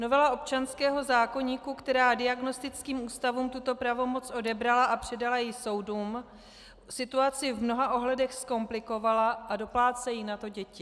Novela občanského zákoníku, která diagnostickým ústavům tuto pravomoc odebrala a předala ji soudům, situaci v mnoha ohledech zkomplikovala a doplácejí na to děti.